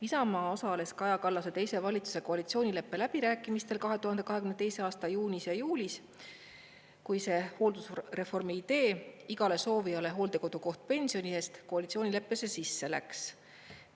Isamaa osales Kaja Kallase teise valitsuse koalitsioonileppe läbirääkimistel 2022. aasta juunis ja juulis, kui see hooldusreformi idee "igale soovijale hooldekodukoht pensioni eest" koalitsioonileppesse sisse läks.